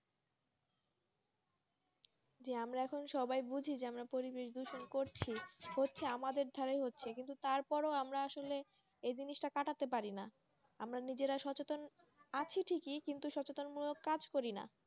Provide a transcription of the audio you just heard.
যে আমরাএখন সবাই বুছিযে আমরা পরিবেশ দূষণ করছি হচ্ছে আমাদের ধরে হচ্ছে কিন্তু তার পরে আমরা আসলে এই জিনিস টা কাটাতে পাররি না আমরা নিজেরা সচেতনআছি ঠিককি কিন্তু সচেতন মূলক কাজ করি না